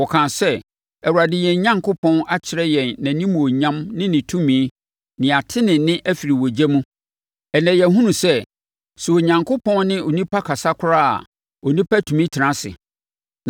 Wɔkaa sɛ, “ Awurade yɛn Onyankopɔn, akyerɛ yɛn nʼanimuonyam ne ne tumi na yɛate ne nne afiri ogya mu. Ɛnnɛ, yɛahunu sɛ, sɛ Onyankopɔn ne onipa kasa koraa a, onipa tumi tena ase.